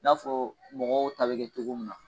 N'a fɔ mɔgɔw ta bi kɛ cogo min na.